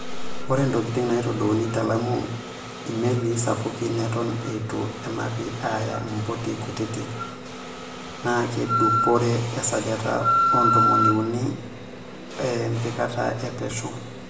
Ore ntokitin naitadouni te Lamu imelii sapuki eton eitu enapi aaya impoti kutiti naakedupore esajati ontomoni unii e mpikata e pesho.